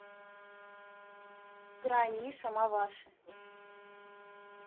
грань миша маваши